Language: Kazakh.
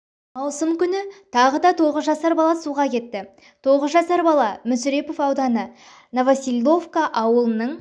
маусым күні тағы да тоғыз жасар бала суға кетті тоғыз жасар бала мүсірепов ауданы новоселовка ауылының